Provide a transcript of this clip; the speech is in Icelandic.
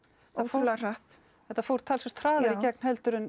ótrúlega hratt þetta fór talsvert hraðar í gegn heldur en